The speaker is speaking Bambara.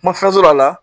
Ma fɛn sɔrɔ a la